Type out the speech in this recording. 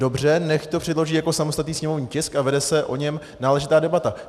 Dobře, nechť to předloží jako samostatný sněmovní tisk a vede se o něm náležitá debata.